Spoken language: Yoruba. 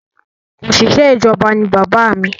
Òṣìṣẹ́ ìjọba ní bàbá mí